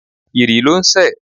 Ìrì ló ń sẹ̀.